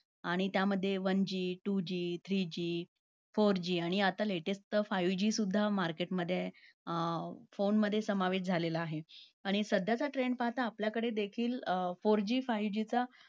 आणि त्यामध्ये one G two G three G four G आणि आता latest five G सुद्धा market मध्ये अं phone मध्ये समावेश झालेला आहे. आणि सध्याचा trend पाहता आपल्याकडे देखील